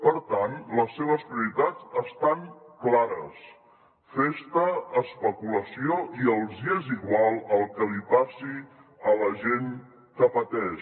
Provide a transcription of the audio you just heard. per tant les seves prioritats estan clares festa especulació i els és igual el que li passi a la gent que pateix